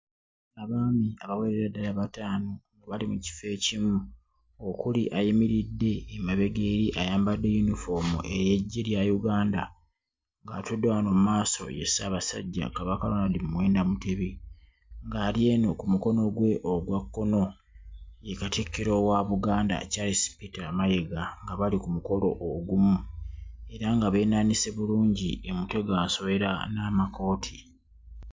Abaami abawerera ddala bataano nga bali mu kifo ekimu okuli ayimiridde emabega eri ayambadde yunifoomu ey'eggye lya Uganda, ng'atudde wano mu maaso ye Ssaabasajja Kabaka, Ronald Muwenda Mutebi, nga ali eno ku mukono gwe ogwa kkono ye Katikkiro wa Buganda, Charles Peter Mayiga nga bali ku mukolo ogumu era nga beenaanise bulungi emiteganswera n'amakooti.